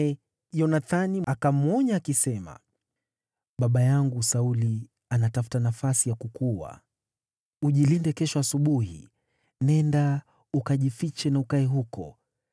Yonathani akamwonya Daudi, akisema, “Baba yangu Sauli anatafuta nafasi ya kukuua. Ujilinde kesho asubuhi, nenda mahali pa siri na ukae huko.